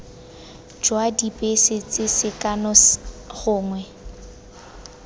jwa dibese tse sekano gongwe